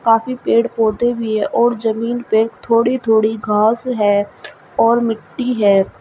काफी पेड़ पौधे भी हैं और जमीन पे थोड़ी थोड़ी घास है और मिट्टी है।